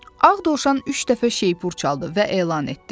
Ağ Dovşan üç dəfə şeypur çaldı və elan etdi.